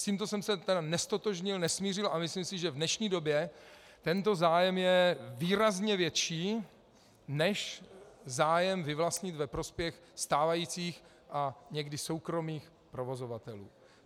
S tímto jsem se tedy neztotožnil, nesmířil a myslím si, že v dnešní době tento zájem je výrazně větší než zájem vyvlastnit ve prospěch stávajících a někdy soukromých provozovatelů.